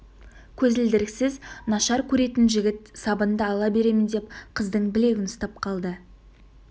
көзілдіріксіз нашар көретін жігіт сабынды ала беремін деп қыздың білегін ұстап алды